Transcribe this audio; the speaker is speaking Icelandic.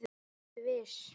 Vertu viss.